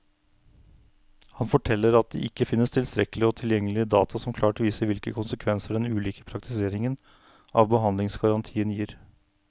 Han forteller at det ikke finnes tilstrekkelig og tilgjengelig data som klart viser hvilke konsekvenser den ulike praktiseringen av behandlingsgarantien gir.